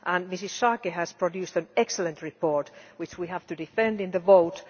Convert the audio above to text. Mrs Schaake has produced an excellent report which we have to defend in the vote.